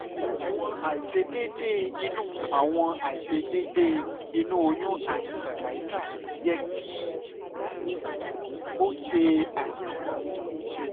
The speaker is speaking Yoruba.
awọn aiṣedede inu awọn aiṣedede inu oyun ati cervical yẹ ki um o ṣe ayẹwo